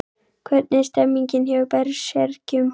Hvernig er stemningin hjá Berserkjum?